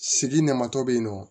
Sigi namatɔ bɛ ye nɔ